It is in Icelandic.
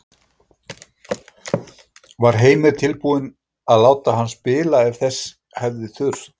Var Heimir tilbúinn til að láta hann spila ef þess hefði þurft?